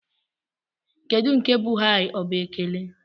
Kedụ nke bụ "Hai?" Ọ bụ ekele?